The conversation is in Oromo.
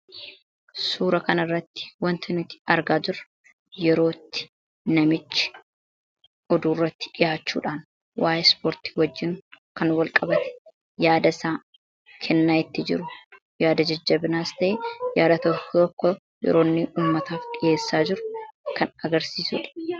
Suura kana irratti waanti nuti argaa jirru yeroo itti namichi oduu irratti dhihaachuudhaan waa'ee ispoortii wajjin kan walqabate yaada isaa kennaa itti jiru; yaada jajjabinaas ta'eeyaada tokko tokko yeroo inni uummataaf dhiheessaa jiru kan agarsiisudha.